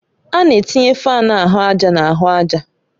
A na-etinye fáan ahụ àjà na ahụ àjà